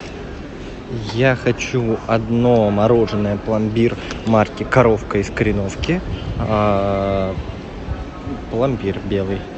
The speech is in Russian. я хочу одно мороженое пломбир марки коровка из кореновки пломбир белый